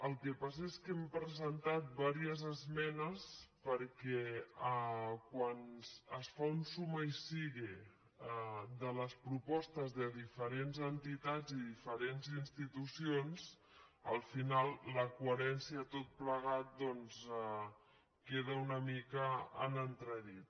el que passa és que hem presentat diverses esmenes perquè quan es fa un suma y sigue de les propostes de diferents entitats i diferents institucions al final la coherència de tot plegat doncs queda una mica en entredit